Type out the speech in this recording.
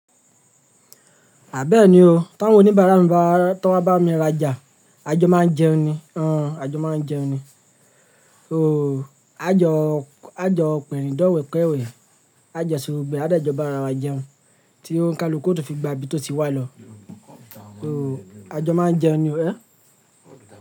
À bẹ́ẹ̀ ni o, tí awọ́n ò ní bá ara wọn bá, tí wọ́n bá mi raja, àjọ máa jẹun ni, o, àjọ máa jẹun ni, o, àjọ, àjọ pèrínjọ̀ wẹ̀kẹ̀wẹ̀, àjọ se gbogbo e, à de jọ bá ara wa jẹun, tí ó ń ka lóko tó fi gba ibi tó ti wà lọ, o, àjọ máa jẹun ni, ẹ́?